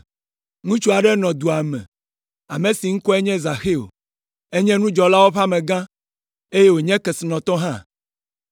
Ŋutsu aɖe nɔ dua me, ame si ŋkɔe nye Zaxeo. Enye nudzɔlawo ƒe amegã, eye wònye kesinɔtɔ hã.